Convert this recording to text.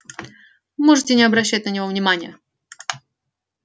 можете не обращать на него внимания